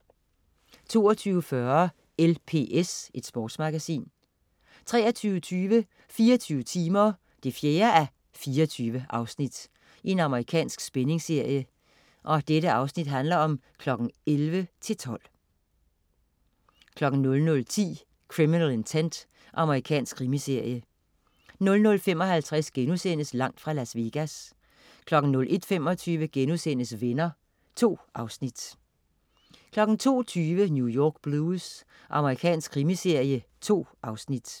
22.40 LPS. Sportsmagasin 23.20 24 timer 4:24. Amerikansk spændingsserie. 11:00-12:00 00.10 Criminal Intent. Amerikansk krimiserie 00.55 Langt fra Las Vegas* 01.25 Venner.* 2 afsnit 02.20 New York Blues. Amerikansk krimiserie. 2 afsnit